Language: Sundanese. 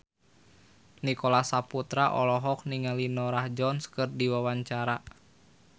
Nicholas Saputra olohok ningali Norah Jones keur diwawancara